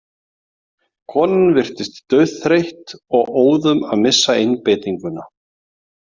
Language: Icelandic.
Konan virtist dauðþreytt og óðum að missa einbeitinguna.